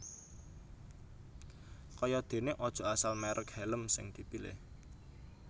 Kaya dene aja asal merek hèlm sing dipilih